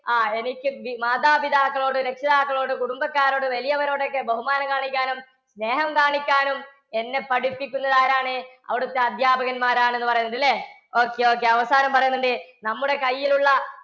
ആ എനിക്ക് മാതാപിതാക്കളോട് രക്ഷിതാക്കളോട് കുടുംബക്കാരോട് വലിയവരോടൊക്കെ ബഹുമാനം കാണിക്കാനും സ്നേഹം കാണിക്കാനും എന്നെ പഠിപ്പിക്കുന്നത് ആരാണ്? അവിടുത്തെ അധ്യാപകന്മാർ ആണെന്ന് പറയുന്നുണ്ട് ഇല്ലേ? okay, okay അവസാനം പറയുന്നുണ്ട് നമ്മുടെ കയ്യിലുള്ള